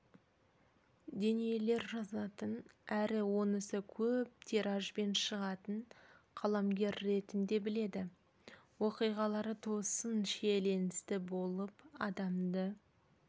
дүниелер жазатын әрі онысы көп тиражбен шығатын қаламгер ретінде біледі оқиғалары тосын шиеленісті болып адамды